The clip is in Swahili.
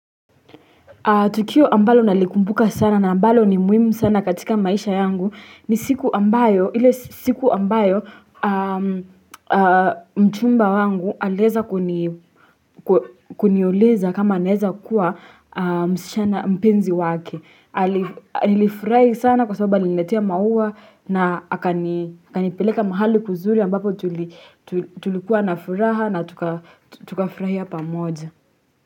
Tukio ambalo nalikumbuka sana na ambalo ni muhimu sana katika maisha yangu ni siku ambayo mchumba wangu aliweza kuniuliza kama naeza kuwa mpenzi wake. Nilifurahi sana kwa sababu aliniletea maua na akanipeleka mahali kuzuri ambapo tulikuwa na furaha na tukafurahia pamoja.